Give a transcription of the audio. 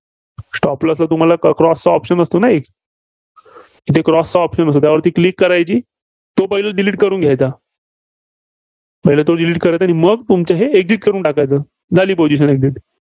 Stop loss वर तुम्हाला Cross चा option असतो ना एक इथे Cross चा option असतो त्यावरती Click करायची. तो पहिला Delete करायचा. पहिला तो Delete करायचा आणि मग तुमचे हे Exit करून टाकायचे. झाली position exit